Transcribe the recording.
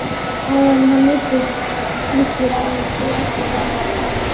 Áður en hann vissi var hann þó aftur farinn að stara.